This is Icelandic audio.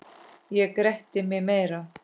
Ég gretti mig meira.